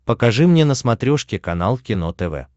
покажи мне на смотрешке канал кино тв